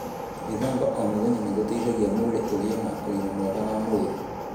Gwíthamba o mũthenya nĩ gũteithagia mwĩrĩ ũgĩe na ũgima mwega wa mwĩrĩ.